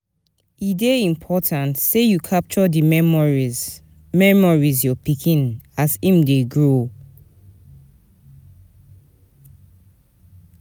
E dey important sey you capture di memories memories your pikin as im dey grow.